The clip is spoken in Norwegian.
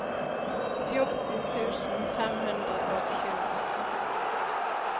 fjorten tusen fem hundre og tjue